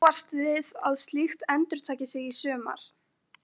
Má búast við að slíkt endurtaki sig í sumar?